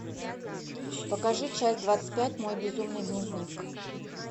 покажи часть двадцать пять мой безумный дневник